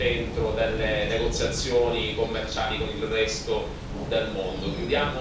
del mondo. Chiudiamo con il Brunei che penso che sia uno dei casi più eclatanti.